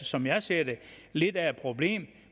som jeg ser det lidt af et problem